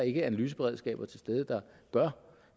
ikke analyseberedskaber til stede der gør